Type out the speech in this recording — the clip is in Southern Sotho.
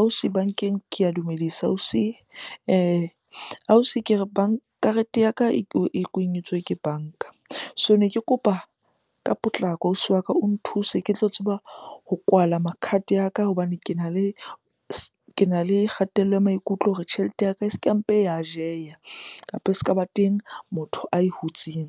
Ausi bankeng ke a dumedisa ausi. Ausi ke re karete ya ka e kwenyetswe ke banka. So ne ke kopa ka potlako ausi wa ka o nthuse ke tlo tseba ho kwala ma card ya ka hobane kena le kgatello ya maikutlo hore tjhelete ya ka e ska mpe ya jeya, kapa e ska ba teng motho ae hutseng